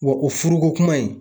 Wɔ o furuko kuma in.